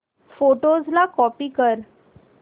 photos ला copy कर